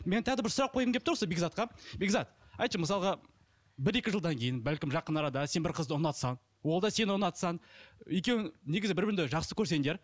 мен тағы да бір сұрақ қойғым келіп тұр осы бекзатқа бекзат айтшы мысалға бір екі жылдан кейін бәлкім жақын арада сен бір қызды ұнатсаң ол да сені ұнатса екеуің негізі бір біріңді жақсы көрсеңдер